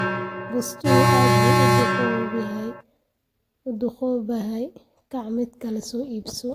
Bustuhu aad buu u duugoobayaa, kaac mid kale soo iibso.